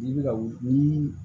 N'i bɛ ka wuli ni